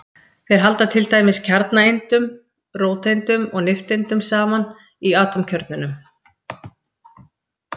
Þeir halda til dæmis kjarnaeindunum, róteindum og nifteindum, saman í atómkjörnunum.